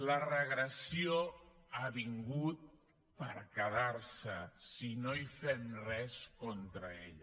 la regressió ha vingut per quedar se si no fem res contra ella